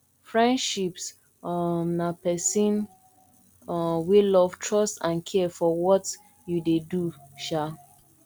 friendships um na pesin um wey love trust and care for what you dey do um